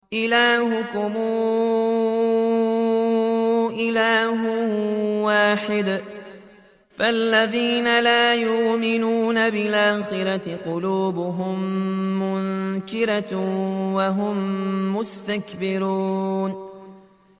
إِلَٰهُكُمْ إِلَٰهٌ وَاحِدٌ ۚ فَالَّذِينَ لَا يُؤْمِنُونَ بِالْآخِرَةِ قُلُوبُهُم مُّنكِرَةٌ وَهُم مُّسْتَكْبِرُونَ